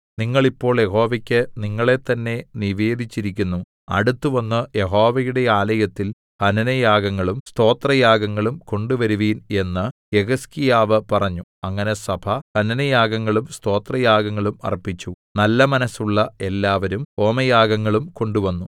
നിങ്ങൾ ഇപ്പോൾ യഹോവയ്ക്ക് നിങ്ങളെത്തന്നെ നിവേദിച്ചിരിക്കുന്നു അടുത്തുവന്ന് യഹോവയുടെ ആലയത്തിൽ ഹനനയാഗങ്ങളും സ്തോത്രയാഗങ്ങളും കൊണ്ടുവരുവിൻ എന്ന് യെഹിസ്കീയാവ് പറഞ്ഞു അങ്ങനെ സഭ ഹനനയാഗങ്ങളും സ്തോത്രയാഗങ്ങളും അർപ്പിച്ചു നല്ല മനസ്സുള്ള എല്ലാവരും ഹോമയാഗങ്ങളും കൊണ്ടുവന്നു